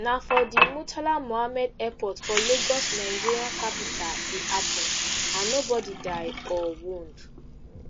na for di murtala mohammed airport for lagos nigeria commercial capital e happun and no body die or wound